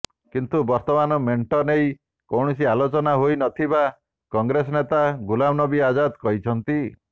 କିନ୍ତୁ ବର୍ତ୍ତମାନ ମେଣ୍ଟ ନେଇ କୌଣସି ଆଲୋଚନା ହୋଇ ନଥିବା କଂଗ୍ରେସ ନେତା ଗୁଲାମନବୀ ଆଜାଦ କହିଛନ୍ତି